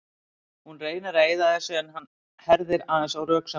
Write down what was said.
Hún reynir að eyða þessu en hann herðir aðeins á röksemdunum.